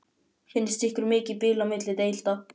Finnst ykkur mikið bil á milli deilda?